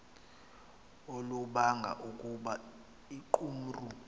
olubanga ukuba iqumrhu